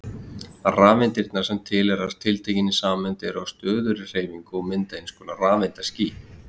Rafeindirnar sem tilheyra tiltekinni sameind eru á stöðugri hreyfingu og mynda einskonar rafeindaský.